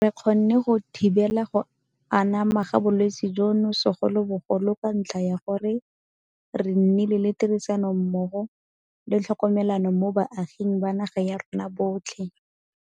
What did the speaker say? Re kgonne go thibela go anama ga bolwetse jono segolobogolo ka ntlha ya gore re nnile le tirisanommogo le tlhokomelano mo baaging ba naga ya rona botlhe.